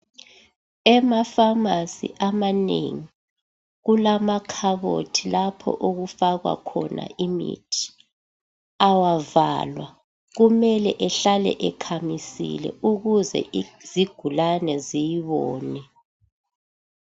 Ema pharmacy amanengi kulamakhabothi lapho okufakwa khona imithi, awavalwa, kumele ehlale ekhamisile ukuze izigulane ziyibone